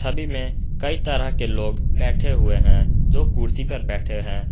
छवि में कई तरह के लोग बैठे हुए हैं जो कुर्सी पर बैठे हैं।